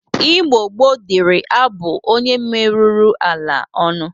Igbo gboo dịri abụ onye meruru ala ọnụ.